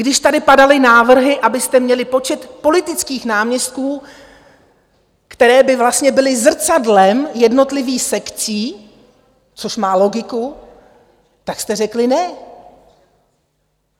Když tady padaly návrhy, abyste měli počet politických náměstků, které by vlastně byly zrcadlem jednotlivých sekcí, což má logiku, tak jste řekli ne.